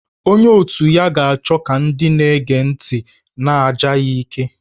Onye otu ya ga-achọ ka ndị na-ege ntị na-aja ya ike